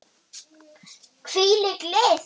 Hvílík list!